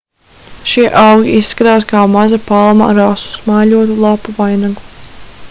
šie augi izskatās kā maza palma ar asu smaiļotu lapu vainagu